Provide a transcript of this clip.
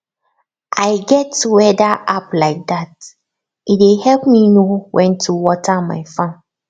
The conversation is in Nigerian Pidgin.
i get weather app like dat e dey help me know when to water my farm